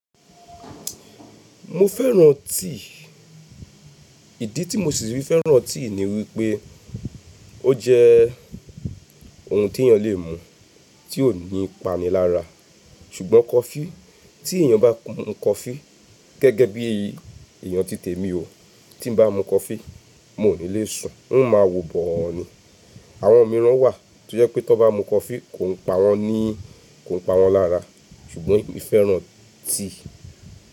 Mo fẹ́ràn tíì, ìdí tí mo sì fi fẹ́ràn tíì ni wípé ó jẹ́ ohun tí èèyàn lè mu tí ò ní ipa ni lára. Ṣùgbọ́n coffee tí èèyàn bá mu coffee gẹ́gẹ́ bí èyí, èèyàn ti tèmi o, tí n bá mu coffee mo ni lè sùn, n ó ma wò bọ̀ ọ́ ni. Àwọn mìíràn wà tó jẹ́ pé tó bá mu coffee kò ń pa wọ́n ní kò ń pa wọ́n lára. Ṣùgbọ́n emí fẹ́ràn tíì.